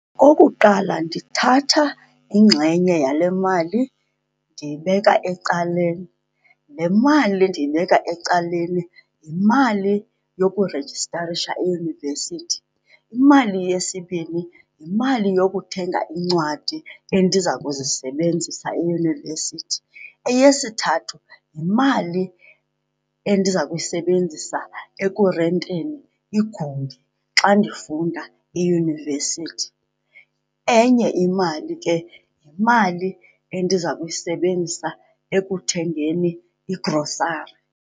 Okuqala, ndithatha ingxenye yale mali ndiyibeka ecaleni. Le mali ndiyibeka ecaleni yimali yokurejistarisha eyunivesithi. Imali yesibini yimali yokuthenga iincwadi endiza kuzisebenzisa eyunivesithi. Eyesithathu, yimali endiza kuyisebenzisa ekurenteni igumbi xa ndifunda eyunivesithi. Enye imali ke yimali endiza kuyisebenzisa ekuthengeni igrosari.